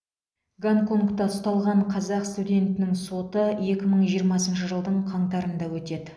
гонконгта ұсталған қазақ студентінің соты екі мың жиырмасыншы жылдың қаңтарында өтеді